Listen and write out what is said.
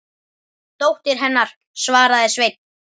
Dóttir hennar, svaraði Sveinn.